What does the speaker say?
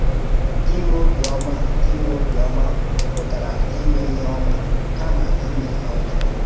Ịnwé obiọ́mà Ịnwé obiọ́mà pụtara íme ihe ọ́mà, kàmá íme ihe ọ́jọọ.